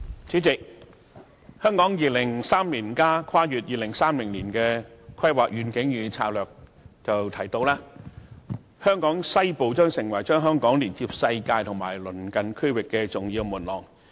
主席，《香港 2030+》提到，"香港西部......將成為把香港連接世界及鄰近區域的重要門廊。